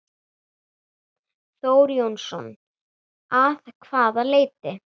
Þór Jónsson: Að hvaða leyti?